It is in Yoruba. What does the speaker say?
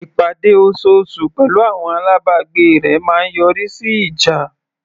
Ìpàdé osoosù pẹ̀lú àwọn alábàgbé rẹ̀ máa ń yọrí sí ìjà.